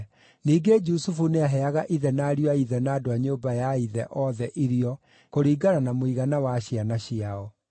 Ningĩ Jusufu nĩaheaga ithe na ariũ a ithe na andũ a nyũmba ya ithe othe irio kũringana na mũigana wa ciana ciao.